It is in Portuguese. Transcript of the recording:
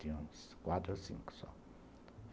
Tinha uns quatro ou cinco só.